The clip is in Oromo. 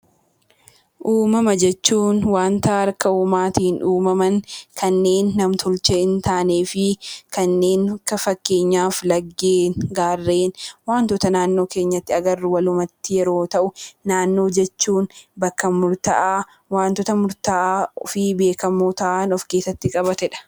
Uumama jechuun wanta harka uumaatiin uumaman, kanneen nam-tolchee hin taane; akka fakkeenyaatti laggeen, gaarreen fi wantoota naannoo keenyatti agarru walumatti yeroo ta'u, naannoo jechuun bakka murtaa'aa, wantoota murtaa'aa ofii beekamoo ta'an of keessatti qabatedha.